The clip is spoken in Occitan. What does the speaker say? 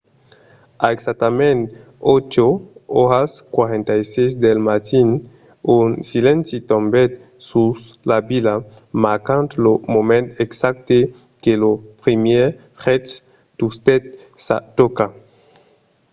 a exactament 8:46 del matin un silenci tombèt sus la vila marcant lo moment exacte que lo primièr jet tustèt sa tòca